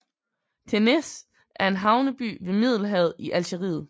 Ténès er en havneby ved Middelhavet i Algeriet